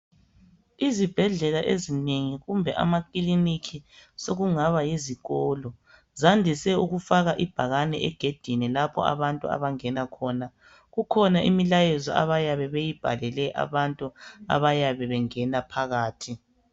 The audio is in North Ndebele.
Izibhedlela ezinengi kumbe amakiliniki sokungaba yizikolo. Zandise ukufaka ibhakane egedini lapho abantu abangena khona. Kukhona imilayezo abayabe beyibhalele abantu abayabe bengena phakathi.